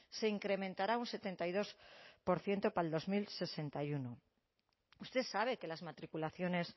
se incrementará un setenta y dos por ciento para dos mil sesenta y uno usted sabe que las matriculaciones